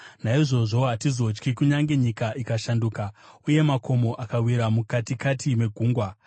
Naizvozvo hatizotyi, kunyange nyika ikashanduka, uye makomo akawira mukatikati megungwa,